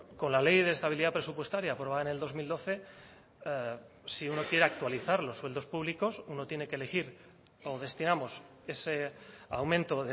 con la ley de estabilidad presupuestaria aprobada en el dos mil doce si uno quiere actualizar los sueldos públicos uno tiene que elegir o destinamos ese aumento